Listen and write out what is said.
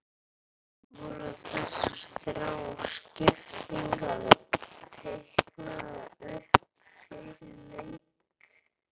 Voru þessar þrjár skiptingar teiknaðar upp fyrir leik?